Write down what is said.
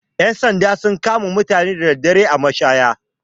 Ƴan sanda sun kama mutane da daddare a mashaya.